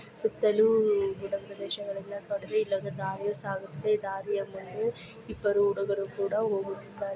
ಸುತ್ತಲು ಉ ಗುಡ್ಡ ಪ್ರದೇಶಗಳಿಂದ ಕೂಡಿದೆ ಇಲ್ಲೊಂದು ದಾರಿಯು ಸಾಗುತ್ತಿದೆ ಈ ದಾರಿಯ ಮುಂದೆ ಇಬ್ಬರು ಹುಡುಗರು ಕೂಡ ಹೋಗುತ್ತಿದ್ದಾರೆ --